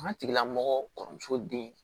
An tigilamɔgɔ kɔrɔmuso den